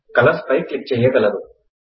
colours పై click చేయగలరు